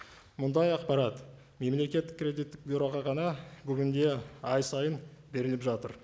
мұндай ақпарат мемлекеттік кредиттік бюроға ғана бүгінде ай сайын беріліп жатыр